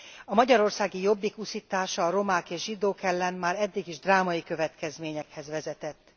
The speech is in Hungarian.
A magyarországi Jobbik uszítása a romák és zsidók ellen már eddig is drámai következményekhez vezetett.